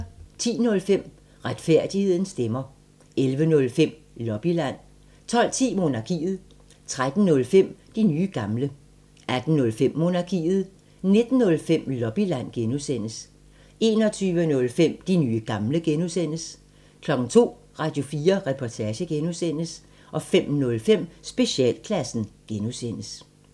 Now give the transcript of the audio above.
10:05: Retfærdighedens stemmer 11:05: Lobbyland 12:10: Monarkiet 13:05: De nye gamle 18:05: Monarkiet 19:05: Lobbyland (G) 21:05: De nye gamle (G) 02:00: Radio4 Reportage (G) 05:05: Specialklassen (G)